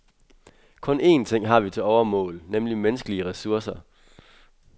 Kun én ting har vi til overmål, nemlig menneskelige ressourcer.